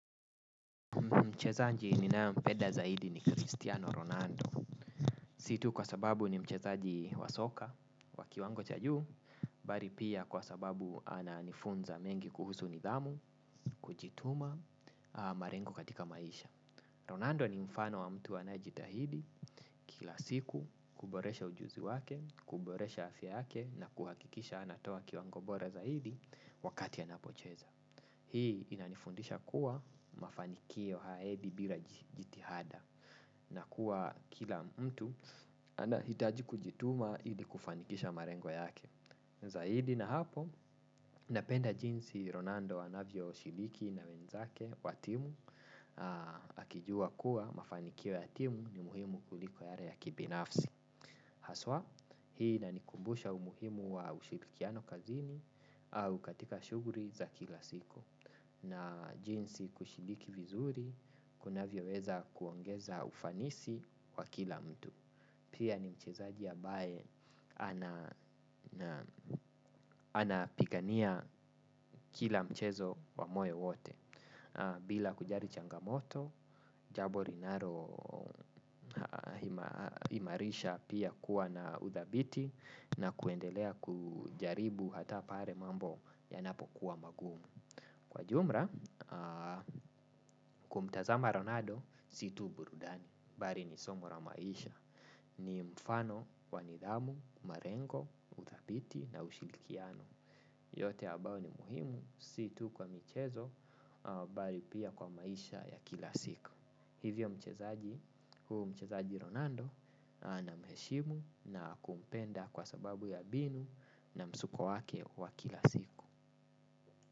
Mchezaji ninaempeda zaidi ni Cristiano Ronaldo. Si tu kwa sababu ni mchezaji wa soka wa kiwango cha juu, bali pia kwa sababu ananifunza mengi kuhusu nidhamu, kujituma, marengo katika maisha. Ronaldo ni mfano wa mtu anaejitahidi kila siku kuboresha ujuzi wake, kuboresha afya yake na kuhakikisha anatoa kiwango bora zaidi wakati anapocheza. Hii inanifundisha kuwa mafanikio haiendi bila jitihada na kuwa kila mtu anahitaji kujituma ili kufanikisha marengo yake. Zahidi na hapo napenda jinsi Ronando anavyo shiliki na wenzake wa timu akijua kuwa mafanikio ya timu ni muhimu kuliko yale ya kibinafsi. Haswa hii inanikumbusha umuhimu wa ushirikiano kazini au katika shuguli za kila siku na jinsi kushiriki vizuri kunavyo weza kuongeza ufanisi wa kila mtu. Pia ni mchezaji ambaye anapigania kila mchezo wa moyo wote. Bila kujari changamoto, jabo linalo imarisha pia kuwa na udhabiti. Na kuendelea kujaribu hata pare mambo yanapokuwa magumu. Kwa jumra, kumtazama ronaldo, si tu burudani bali ni somo la maisha. Ni mfano, wa nidhamu, marengo, udhabiti na ushilikiano. Yote abao ni muhimu si tu kwa michezo bali pia kwa maisha ya kila siku. Hivyo mchezaji, huu mchezaji Ronaldo. Na mheshimu na kumpenda kwa sababu ya binu. Na msuko wake wa kila siku.